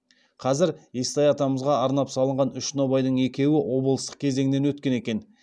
қазір естай атамызға арнап салған үш нобайдың екеуі облыстық кезеңнен өткен екен